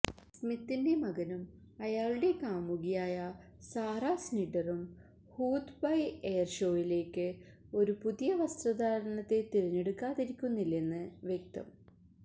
സ്മിത്തിന്റെ മകനും അയാളുടെ കാമുകിയായ സാറ സ്നിഡറും ഹൂദ് ബൈ എയർ ഷോയിലേക്ക് ഒരു പുതിയ വസ്ത്രധാരണത്തെ തിരഞ്ഞെടുക്കാതിരിക്കുന്നില്ലെന്നു വ്യക്തം